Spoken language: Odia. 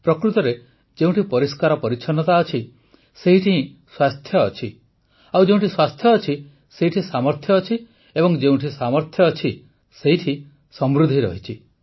ପ୍ରକୃତରେ ଯେଉଁଠି ପରିଷ୍କାର ପରିଚ୍ଛନ୍ନତା ଅଛି ସେଇଠି ହିଁ ସ୍ୱାସ୍ଥ୍ୟ ଅଛି ଯେଉଁଠି ସ୍ୱାସ୍ଥ୍ୟ ଅଛି ସେଇଠି ସାମର୍ଥ୍ୟ ଅଛି ଏବଂ ଯେଉଁଠି ସାମର୍ଥ୍ୟ ଅଛି ସେଇଠି ସମୃଦ୍ଧି ରହିଛି